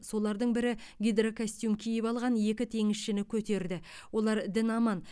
солардың бірі гидрокостюм киіп алған екі теңізшіні көтерді олар дін аман